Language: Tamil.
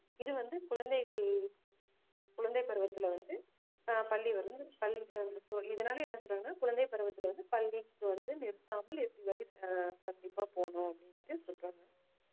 இது வந்து குழந்தைகள் குழந்தைப் பருவத்திலே வந்து அஹ் பள்ளி வருது கல்~ இதனாலே என்ன சொல்றாங்கன்னா குழந்தைப் பருவத்தில வந்து பள்ளிக்கு வந்து நிறுத்தாம இறுதிவரை ஆஹ் கண்டிப்பா போகணும் அப்படீன்னுட்டு சொல்றாங்க